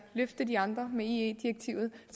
løfte de andre med ie direktivet